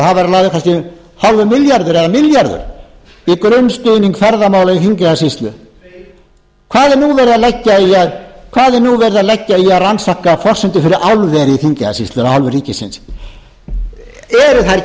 lagður kannski hálfur milljarður eða milljarður í grunnstuðning ferðamála í þingeyjarsýslu hvað er nú verið að leggja í að rannsaka forsendur fyrir álveri í þingeyjarsýslu af hálfu ríkisins eru það ekki